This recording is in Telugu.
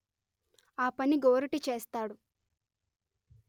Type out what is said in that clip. ఆ పని గోరటి చేస్తాడు